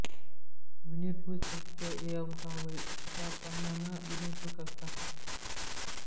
ವಿನಿರ್ಭುಚ್ಯತ ಏವಂ ಹ ವೈ ಸ ಪಾಪ್ಮನಾ ವಿನಿರ್ಭುಕ್ತಃ ಸ